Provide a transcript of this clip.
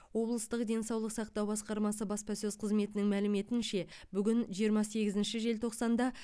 облыстық денсаулық сақтау басқармасы баспасөз қызметінің мәліметінше бүгін жиырма сегізінші желтоқсанда